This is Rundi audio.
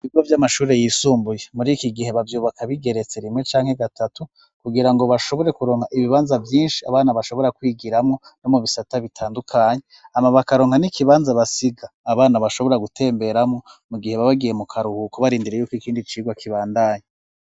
Ibigo vy'amashuri yisumbuye muri iki gihe bavyubaka bigeretse rimwe canke gatatu kugira ngo bashobore kuronka ibibanza byinshi abana bashobora kwigiramo no mu bisata bitandukanye ama bakaronka n'ikibanza basiga abana bashobora gutemberamo mu gihe babagiye mu karuhuko barindire yuko ikindi cigwa kibandanye.